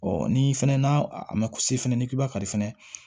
ni fɛnɛ n'a a ma kuse fana n'i k'i b'a kari fana